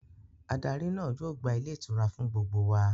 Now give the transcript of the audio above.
Adarí náà yóò gba Ilé ìtura fún gbogbo wa